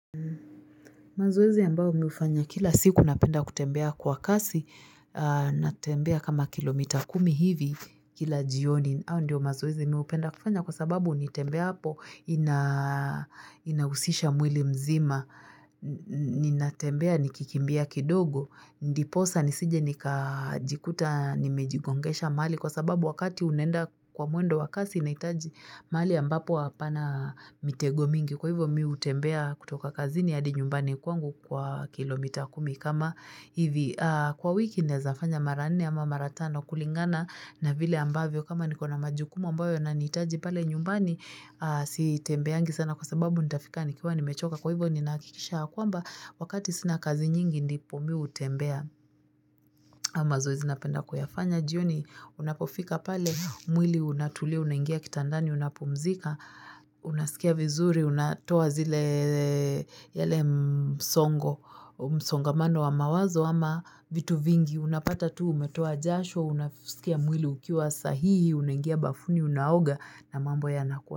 Mazoezi ambayo mi hufanya kila siku napenda kutembea kwa kasi, natembea kama kilomita kumi hivi kila jioni. Hayo ndio mazoezi mi hupenda kufanya kwa sababu nitembeapo inahusisha mwili mzima. Ninatembea nikikimbia kidogo, ndiposa nisije nikajikuta, nimejigongesha mahali kwa sababu wakati unaenda kwa mwendo wa kasi inahitaji mahali ambapo hapana mitego mingi. Kwa hivyo mi hutembea kutoka kazini hadi nyumbani kwangu hukuwa kilomita kumi kama hivi. Kwa wiki ninaeza fanya mara nne ama mara tano kulingana na vile ambavyo kama niko na majukumu ambayo yananihitaji pale nyumbani sitembeangi sana kwa sababu nitafika nikiwa nimechoka. Kwa hivyo ninahakikisha ya kwamba wakati sina kazi nyingi ndipo mi hutembea hayo mazoezi napenda kuyafanya. Jioni unapofika pale mwili unatulia unaingia kitandani unapumzika unasikia vizuri unatoa zile yale msongo msongamano wa mawazo ama vitu vingi unapata tu umetoa jasho unasikia mwili ukiwa sahihi unaingia bafuni unaoga na mambo yanakuwa.